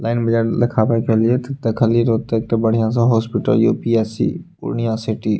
Line बाजार देखेबय गेलिए ते देखलिये ओतय एक बढ़िया-सा हॉस्पिटल यु.पी.एच.सी. पूर्णिया सिटी ।